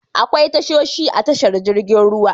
Akwai tashoshi a tashar jirgin ruwa.